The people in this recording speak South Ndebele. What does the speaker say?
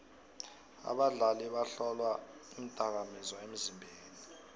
abadlali bahlolwa iindakamizwa emzimbeni